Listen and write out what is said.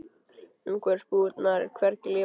Umhverfis búðirnar er hvergi líf að sjá.